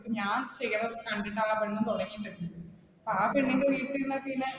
ഞാൻ ചെയ്യണ കണ്ടിട്ട് ആ പെണ്ണും തുടങ്ങിയിട്ടുണ്ട്. ആ പെണ്ണിന്റെ വീട്